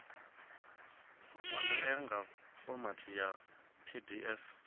wanalea nga fomathi ya pdf